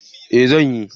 Eh zan yi.